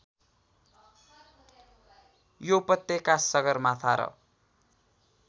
यो उपत्यका सगरमाथा र